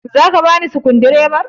Zaka bani sukundibar ka?